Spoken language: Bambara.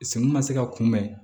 Senw ma se ka kunbɛn